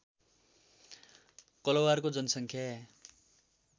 कलवारको जनसङ्ख्या